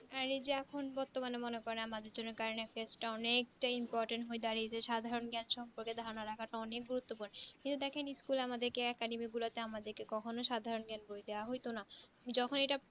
আর এই যে এখন বর্তমানে মনে করেন আমাদের জন্য এর current affairs টা অনেক টা important দাঁড়িয়ে যাই সাধারণ জ্ঞান সম্পর্কে ধারণা রাখাটা অনেক গুরুত্ব পূর্ণ কিন্তু দেখেন school এ academy গুলোতে আমাদেরকে কক্ষণো সাধারণ জ্ঞান গুলো হয়তো না যখন এইটা